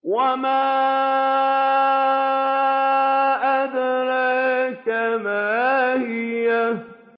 وَمَا أَدْرَاكَ مَا هِيَهْ